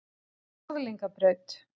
Norðlingabraut